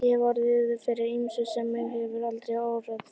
Ég hef orðið fyrir ýmsu sem mig hefði aldrei órað fyrir.